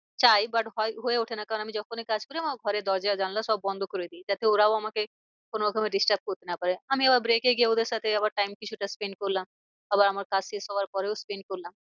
চায় but হয়ে ওঠে না কারণ আমি যখনই কাজ করি আমার ঘরের দরজা জানলা সব বন্ধ করে দিই যাতে ওরাও আমাকে কোনো রকমে disturb করতে না পারে। আমি আবার break এ গিয়ে ওদের সাথে আবার time কিছুটা spend করলাম। আবার আমার কাজ শেষ হওয়ার পরেও spend করলাম।